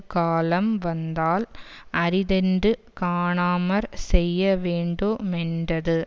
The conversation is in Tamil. காலம் வந்தால் அரிதென்று காணாமற் செய்யவேண்டு மென்றது